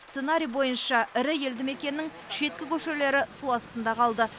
сценарий бойынша ірі елді мекеннің шеткі көшелері су астында қалды